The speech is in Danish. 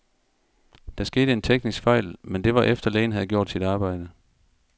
Der skete en teknisk fejl, men det var efter, lægen havde gjort sit arbejde.